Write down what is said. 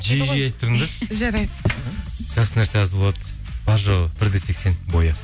жиі жиі айтып тұрыңдаршы жарайды жақсы нәрсе аз болады бар жоғы бір де сексен бойы